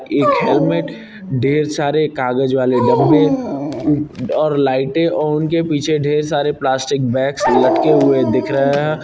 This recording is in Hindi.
एक हेलमेट ढ़ेर सारे कागज वाले डब्बे उ और लाइटें और उनके पीछे ढ़ेर सारे प्लास्टिक बैग्स लटके हुए दिख रहे हैं।